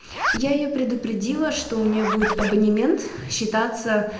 я её предупредила что у нее будет абонемент считаться